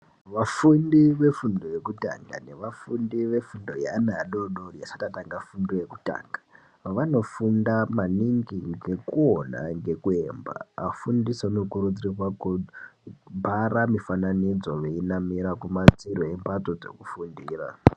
Vafundi vefundo yekutanga nevafundi vefundo yeana adoodori asati atanga fundo yekutanga vanofunda maningi ngekuona ngekuemba .afundisi anokurudzirwa kubhara mifananidzo yonamira kumadziro embatso dzekufundira.